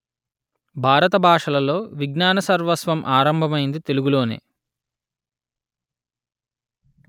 భారత భాషలలో విజ్ఞాన సర్వస్వం ఆరంభమైంది తెలుగులోనే